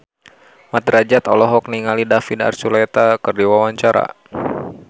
Mat Drajat olohok ningali David Archuletta keur diwawancara